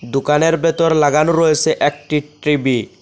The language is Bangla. দোকানের ভেতর লাগানো রয়েছে একটি ট্রিবি ।